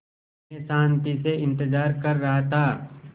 मैं शान्ति से इंतज़ार कर रहा था